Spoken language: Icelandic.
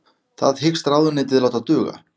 Það hyggst ráðuneytið láta duga